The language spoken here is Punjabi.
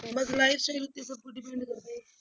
ਬਸ lifestyle